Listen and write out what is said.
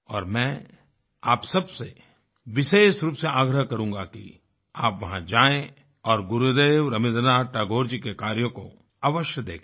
और मैं आप सबसे विशेष रूप से आग्रह करूँगा कि आप वहां जाएँ और गुरुदेव रबीन्द्रनाथ टैगोर जी के कार्यों को अवश्य देखें